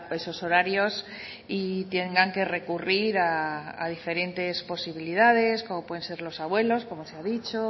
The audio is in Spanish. esos horarios y tengan que recurrir a diferentes posibilidades como pueden ser los abuelos como se ha dicho o